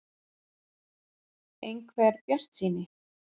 . einhver bjartsýni.